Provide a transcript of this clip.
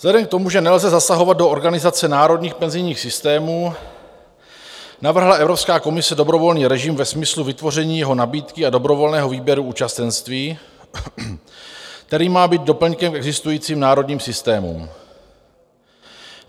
Vzhledem k tomu, že nelze zasahovat do organizace národních penzijních systémů, navrhla Evropská komise dobrovolný režim ve smyslu vytvoření jeho nabídky a dobrovolného výběru účastenství, který má být doplňkem k existujícím národním systémům.